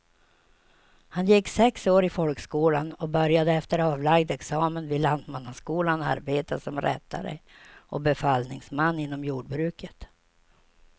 Han gick sex år i folkskolan och började efter avlagd examen vid lantmannaskolan arbeta som rättare och befallningsman inom jordbruket.